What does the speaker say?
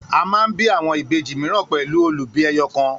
A man bí àwọn Ìbejì míràn pẹlu olubi ẹyọkan